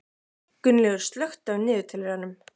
Gunnlaugur, slökktu á niðurteljaranum.